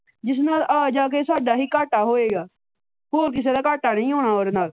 ਜਿਸ ਨਾਲ ਆ ਜਾ ਕੇ ਸਾਡਾ ਹੀ ਘਾਟਾ ਹੋਵੇਗਾ ਹੋਰ ਕਿਸੇ ਦਾ ਘਾਟਾ ਨਹੀ ਹੋਣਾ ਉਹਦੇ ਨਾਲ।